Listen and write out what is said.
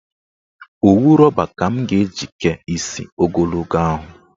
Owu rọba ka m ga-eji kee isi ogologo ahụ.